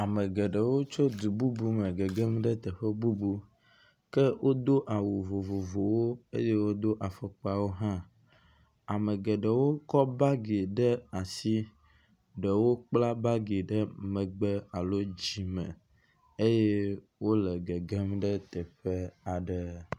Ame geɖewo tso du bubu me gegem ɖe teƒe bubu. Ke wodo awu vovovowo eye wodo afɔkpawo hã. Ame geɖewo kɔ bagi ɖe asi. Ɖewo kpla bagi ɖe megbe alo dzime eye wole gegem ɖe teƒe aɖe.